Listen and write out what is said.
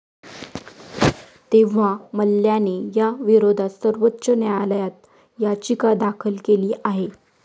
तेव्हा मल्ल्याने या विरोधात सर्वोच्च न्यायालयात याचिका दाखल केली आहे.